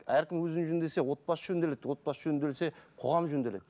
әркім өзін жөндесе отбасы жөнделеді отбасы жөнделсе қоғам жөнделеді